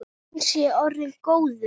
Hann sé orðinn góður.